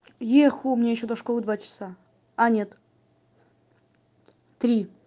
еху мне ещё до школы два часа а нет три